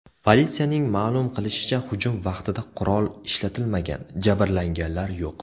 Politsiyaning ma’lum qilishicha, hujum vaqtida qurol ishlatilmagan, jabrlanganlar yo‘q.